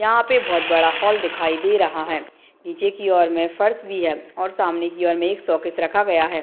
यहाँ पे बहुत बड़ा हॉल दिखाई दे रहा है निचे की और में फर्श भी है और सामने की और में एक शो-केस रखा गया है।